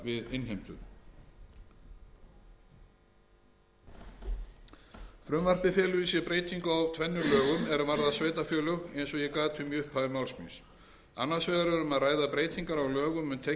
í sér breytingu á tvennum lögum er varða sveitarfélög eins og ég gat um í upphafi máls míns annars vegar er um að ræða breytingar á lögum um tekjustofna sveitarfélaga númer